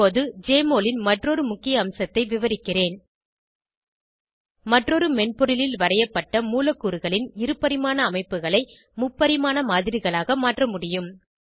இப்போது ஜெஎம்ஒஎல் ன் மற்றொரு முக்கிய அம்சத்தை விவரிக்கிறேன் மற்றொரு மென்பொருளில் வரைப்பட்ட மூலக்கூறுகளின் இருபரிமாண அமைப்புகளை முப்பரிமாண மாதிரிகளாக மாற்ற முடியும்